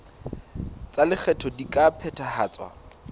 tsa lekgetho di ka phethahatswa